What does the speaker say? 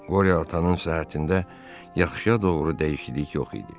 Qore atanın səhhətində yaxşıya doğru dəyişiklik yox idi.